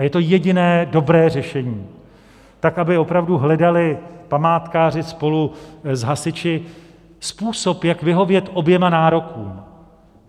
A je to jediné dobré řešení, tak, aby opravdu hledali památkáři spolu s hasiči způsob, jak vyhovět oběma nárokům.